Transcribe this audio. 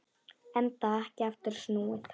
Enda ekki aftur snúið.